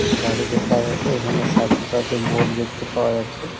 একটি বাড়ি দেখা যাছে। এখানে সাস্থ্যসাথির বোর্ড দেখতে পাওয়া যাচ্ছে।